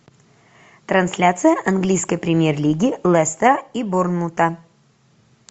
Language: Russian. трансляция английской премьер лиги лестера и борнмута